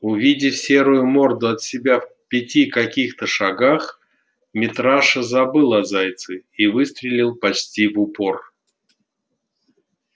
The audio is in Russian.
увидев серую морду от себя в пяти каких-то шагах митраша забыл о зайце и выстрелил почти в упор